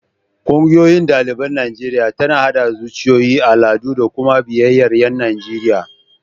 Ƙungiyar ɗaliban Najeriya tana haɗa zuciyoyi, al'adu da kuma biyayyar ƴan Najeriya.